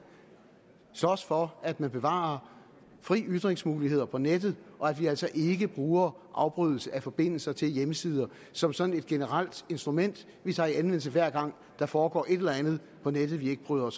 slås for at man bevarer frie ytringsmuligheder på nettet og at vi altså ikke bruger afbrydelse af forbindelse til hjemmesider som sådan et generelt instrument vi tager i anvendelse hver gang der foregår et eller andet på nettet vi ikke bryder